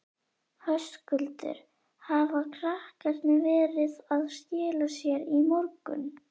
Höskuldur: Hafa krakkarnir verið að skila sér í morgun?